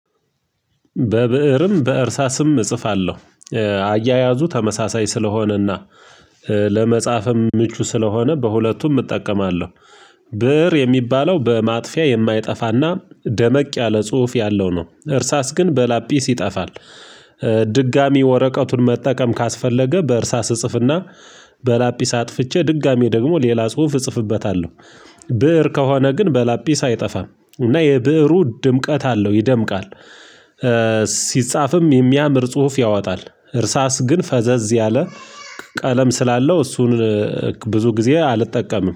በብእርም በእርሳስም እጽፋለሁ አያያዙ ተመሳሳይ ስለሆነና ለመጽሐፍም ምቹ ስለሆነ በሁለቱም እጠቀማለሁ። ብር የሚባለው በማጥፊያ የማይጠፋ እና ደመቅ ያለ ጽሁፍ ያለው ነው፤ እርሳስ ግን በላጲስ ይጠፋል። ድጋሚ ወረቀቱን መጠቀም ካስፈለገ በእርሳስ እጽፍና በላጲስ አጥፍቼ ድጋሚ ደግሞ ሌላ ጽሁፍ እጽፍበታለሁ ብእር ከሆነ ግን በላጲሳ አይጠፋም እና የብእሩ ድምቀት አለው ይደምቃል ሲጻፍም የሚያምር ጽሁፍ ያወጣል እርሳስ ግን ፈዘዝ ያለ ቀለም ስላለው እሱን ብዙ ጊዜ አልጠቀምም